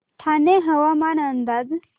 ठाणे हवामान अंदाज